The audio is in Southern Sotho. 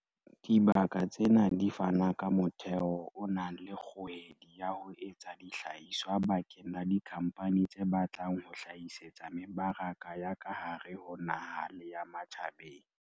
Dibaka tsena di fana ka motheo o nang le kgohedi ya ho etsa dihlahiswa bakeng la dikhampani tse batlang ho hlahisetsa mebaraka ya ka hare ho naha le ya ma tjhabeng.